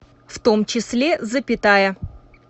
в том числе запятая